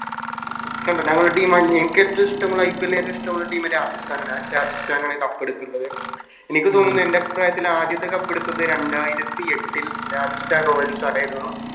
കണ്ടോ ഞങ്ങളെ Team എൻക്ക് ഏറ്റോം ഇഷ്ട്ടമുള്ള IPL ല് ഏറ്റോം ഇഷ്ട്ടമുള്ള Team രാജസ്ഥാനാണ് ആ രാജസ്ഥാനാണ് Cup എടുത്ത്ള്ളത് എനിക്ക് തോന്നുന്നു എൻറെ പ്രായത്തിൽ ആദ്യത്തെ Cup എടുത്തത് രണ്ടായിരത്തി എട്ടിൽ Rajasthan royals ആയിരുന്നു